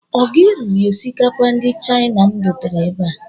Ọ gị riri osikapa ndị China m dotere ebe a?